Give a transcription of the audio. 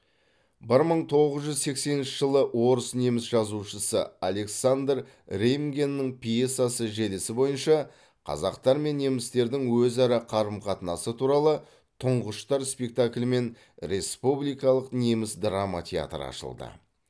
бір мың тоғыз жүз сексенінші жылы орыс неміс жазушысы александр реймгеннің пьесасы желісі бойынша қазақтар мен немістердің өзара қарым қатынасы туралы тұңғыштар спектаклімен республикалық неміс драма театры ашылды